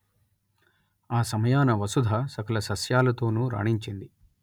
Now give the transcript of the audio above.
ఆ సమయాన వసుధ సకల సస్యాలతోనూ రాణించింది